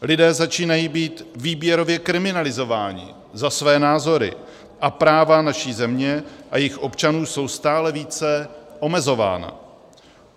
Lidé začínají být výběrově kriminalizováni za své názory a práva naší země a jejích občanů jsou stále více omezována.